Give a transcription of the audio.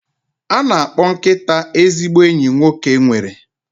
A na-akpọ nkịta ezigbo enyi nwoke nwere